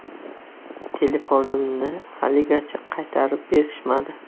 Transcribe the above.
Telefonimni haligacha qaytarib berishmadi.